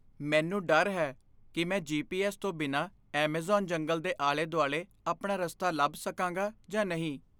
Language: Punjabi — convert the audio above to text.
ਮੈਨੂੰ ਡਰ ਹੈ ਕੀ ਮੈਂ ਜੀ.ਪੀ.ਐੱਸ. ਤੋਂ ਬਿਨਾਂ ਐੱਮਾਜ਼ਾਨ ਜੰਗਲ ਦੇ ਆਲੇ ਦੁਆਲੇ ਆਪਣਾ ਰਸਤਾ ਲੱਭ ਸਕਾਂਗਾ ਜਾਂ ਨਹੀਂ